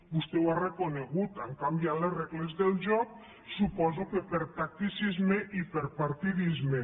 vostè ho ha reconegut han canviat les regles del joc suposo que per tacticisme i per partidisme